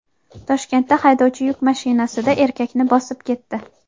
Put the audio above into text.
Toshkentda haydovchi yuk mashinasida erkakni bosib ketdi.